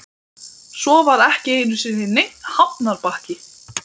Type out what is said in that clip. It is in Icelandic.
Svo var ekki einu sinni neinn hafnarbakki.